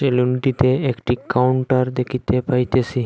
সেলুনটিতে একটি কাউন্টার দেখিতে পাইতেছি।